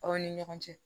Aw ni ɲɔgɔn cɛ